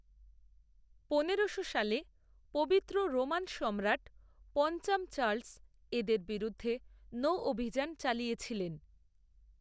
পনেরোশো সালে পবিত্র রোমান সম্রাট পঞ্চাম চার্লস এদের বিরুদ্ধে নৌঅভিযান চালিয়েছিলেন।